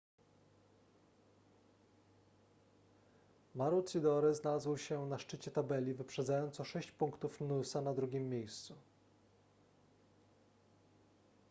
maroochydore znalazł się na szczycie tabeli wyprzedzając o sześć punktów noosa na drugim miejscu